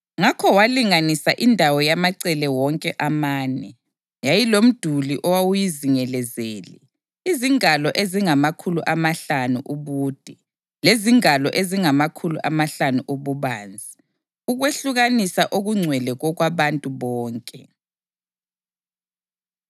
Ngakho walinganisa indawo yamacele wonke amane. Yayilomduli owawuyizingelezele, izingalo ezingamakhulu amahlanu ubude lezingalo ezingamakhulu amahlanu ububanzi, ukwehlukanisa okungcwele kokwabantu bonke.